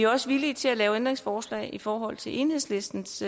også villige til at lave ændringsforslag i forhold til enhedslistens